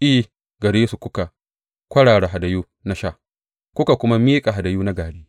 I, gare su kuka kwarara hadayu na sha kuka kuma miƙa hadayu na gari.